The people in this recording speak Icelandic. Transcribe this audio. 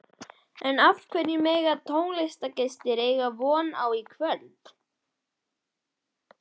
En hverju mega tónleikagestir eiga von á í kvöld?